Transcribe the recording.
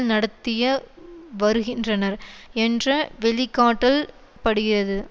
நடத்திய வருகின்றனர் என்ற வெளிக்காட்டல் படுகிறது